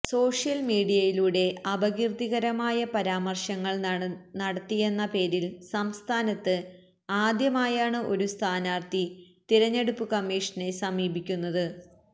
social മീഡിയയിലൂടെ അപകീര്ത്തികരമായ പരാമര്ശങ്ങള് നടത്തിയെന്ന പേരില് സംസ്ഥാനത്ത് ആദ്യമായാണ് ഒരു സ്ഥാനാര്ഥി തിരഞ്ഞെടുപ്പ് കമ്മിഷനെ സമീപിക്കുന്നത്